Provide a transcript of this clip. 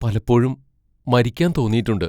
പലപ്പോഴും മരിക്കാൻ തോന്നിയിട്ടുണ്ട്.